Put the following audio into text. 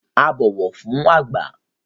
A bó ọwọ fún àgba